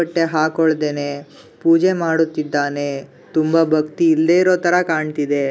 ಬಟ್ಟೆ ಹಕೋಳುದೆನೆ ಪೂಜೆ ಮಾಡುತಿದ್ದಾನೆ ತುಂಬಾ ಭಕ್ತಿ ಇಲ್ಲದೆ ಇರೋತರ ಕಾಣುತಿದೆ.